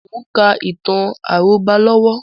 Mo ń ka ìtàn àrọ́bá lọ́wọ́